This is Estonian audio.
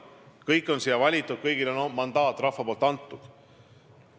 Kõik on siia valitud, kõigile on rahva mandaat antud.